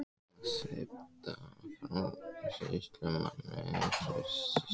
En að svipta sjálfan sýslumanninn frelsi sínu!